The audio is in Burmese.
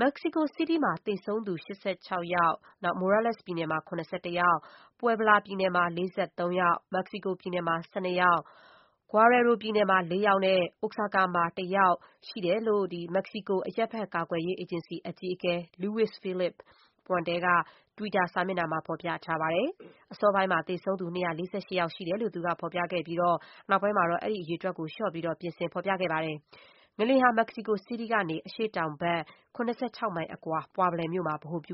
မက္ကဆီကိုစီးတီး မှာ သေဆုံးသူ ၈၆ ယောက်၊ Morelos ပြည်နယ်မှာ ၇၁ ယောက်၊ Puebla ပြည်နယ်မှာ ၄၃ ယောက်၊ မက္ကဆီကိုပြည်နယ်မှာ ၁၂ ယောက်၊ Guerrero ပြည်နယ်မှာ ၄ ယောက်နဲ့ Oaxaca မှာ ၁ ယောက် ရှိတဲ့အကြောင်း မက္ကဆီကို အရပ်ဘက် ကာကွယ်ရေး အေဂျင်စီ အကြီးအကဲ Luis Felipe Puente က တွီတာစာမျက်နှာမှာ ဖော်ပြထားပါတယ်။ အစောပိုင်းမှာ သေဆုံးသူ ၂၄၈ ယောက်ရှိတယ်လို့လည်း သူက ဖော်ပြခဲ့ပြီး နောက်ပိုင်းမှာတော့ အဲဒီအရေအတွက် လျော့ပြီး ပြင်ဆင် ဖော်ပြထားတာ တွေ့ရပါတယ်။ငလျင်ဟာ မက္ကဆီကိုစီးတီး ကနေ အရှေ့တောင်ဘက် ၇၆ မိုင်အကွာ Puebla မြို့မှာ ဗဟိုပြု